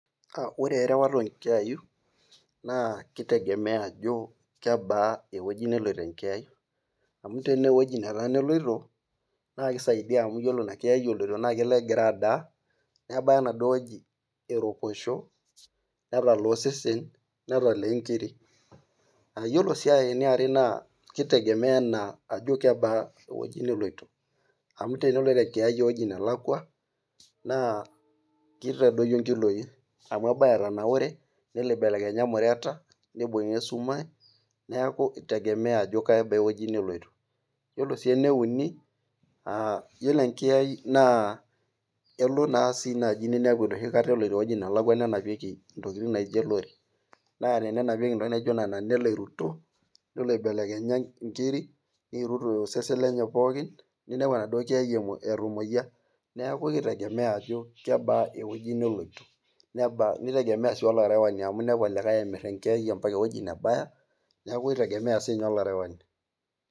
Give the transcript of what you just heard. Ore erewata oo nkiayainnaa kitegemea ajo kebaa ewueji nelotu enkiyai. amu tenaa ewueji nelaku a eloito, naa kisaidia amu ore inankiyai eloito naa kelo egira adaa. nebaya enaduoo wueji eroposho netala osesen. netalaa nkiri. ore sii aitoki kitegemea anaa ajo kebaa ewueji neloito. amu teneloito enkiyai ewueji nelakua, naa kitadoyio nkiloi. amu ebaya etanaure. nibelekenya imureta, nibunga esumash ,neeku itegemea ajo kebaa ewueji neloito. iyiollo ene uni yiolot enkiyai naa elo naa sii naaji ninepu eloito ewueji nelaku nenapieki ntokitin naijo .naa. tenenapieki ntokitin naijo Nena.,nelo iruto nelo ibelekenya. nkiri niirut osesen lenye. pookin. ninepu enaduoo kiyai etamuoyia. neeku kitegemea ajo kebaa ewueji neloito nitegemea sii olarewani. ami inepu olarewani. emir enkiyai mpaka ewueji nebaya. neeku kitegemea sii ninye olarewani.